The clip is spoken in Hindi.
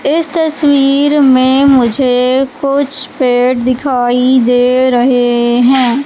इस तस्वीर में मुझे कुछ पेड़ दिखाई दे रहे हैं।